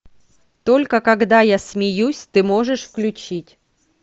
только когда я смеюсь ты можешь включить